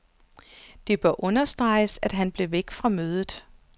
Det bør understreges, at han blev væk fra mødet.